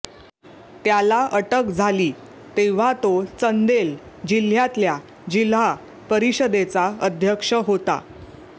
त्याला अटक झाली तेव्हा तो चंदेल जिल्ह्यातल्या जिल्हा परिषदेचा अध्यक्ष होता